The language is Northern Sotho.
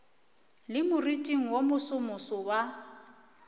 le moriting wo mosomoso wa